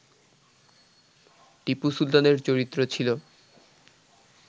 টিপু সুলতানের চরিত্র ছিল